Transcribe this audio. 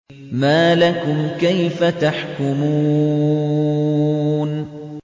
مَا لَكُمْ كَيْفَ تَحْكُمُونَ